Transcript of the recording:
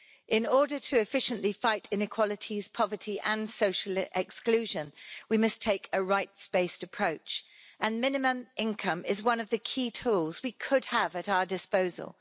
In order to efficiently fight inequalities, poverty and social exclusion, we must take a rights-based approach, and minimum income is one of the key tools we could have at our disposal.